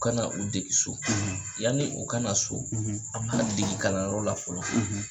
U kana u degi so, , yanni u kana so, , an b'a degi kalanyɔrɔ la fɔlɔ,